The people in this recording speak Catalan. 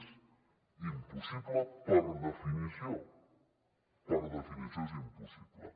és impossible per definició per definició és impossible